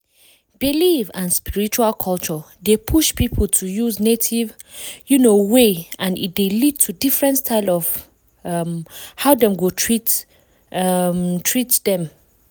belief and spiritual culture dey push people to use native um way and e dey lead to different style of um hoe dem go treat um dem.